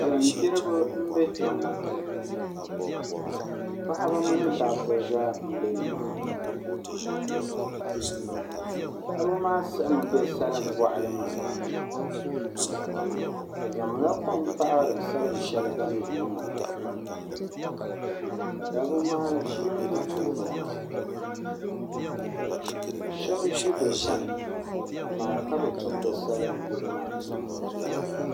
Salin gbiribi n bɛ kpɛ ŋo paɣaba mini dabba zaa n bɛ nimaani paɣaba maa siɣimi bɛ salin boɣali maa ni bi zaŋla kom paɣari salin shɛli bini gbi maa ka dabba maa ʒi bi tooni ha shab ʒi bi saniamaa ka bi tumdi salin gbibu maa tuma